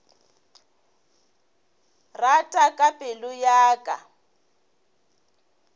rata ka pelo ya ka